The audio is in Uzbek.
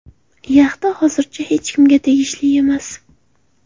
Yaxta hozircha hech kimga tegishli emas.